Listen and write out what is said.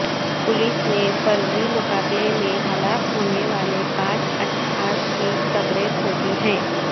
police نے فرضی مقابلے میں ہلاک ہونے والے پانچ اشخاص کی قبریں کھودی ہیں